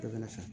Dɔ bɛ sa